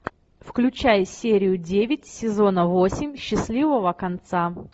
включай серию девять сезона восемь счастливого конца